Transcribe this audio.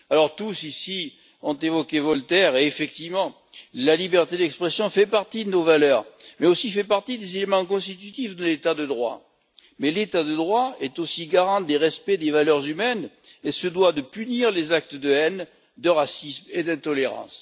Tous ici ont évoqué Voltaire et effectivement la liberté d'expression fait partie de nos valeurs, mais fait aussi partie des éléments constitutifs de l'état de droit, mais l'état de droit est aussi garant des respects des valeurs humaines et se doit de punir les actes de haine, de racisme et d'intolérance.